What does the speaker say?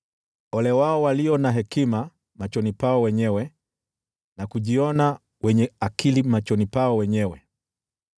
Ole wao walio na hekima machoni pao wenyewe, na kujiona wenye akili machoni pao wenyewe.